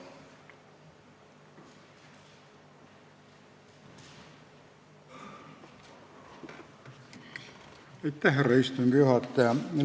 Aitäh, härra istungi juhataja!